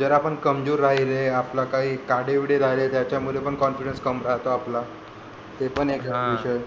जर आपण कमजोर राहिले आपलं काही काळे बिळे राहिले त्याच्यात पण confidence कम राहतो आपला ते पण एक विषय